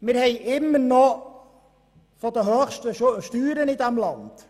– Wir haben noch immer von den höchsten Steuern in diesem Land.